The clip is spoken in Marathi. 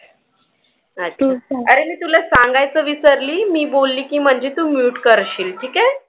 अरे मी तुला सांगायचं विसरली मी बोलली की म्हणजे तू mute करशील. ठीक आहे.